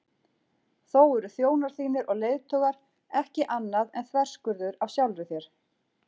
Þó eru þjónar þínir og leiðtogar ekki annað en þverskurður af sjálfri þér.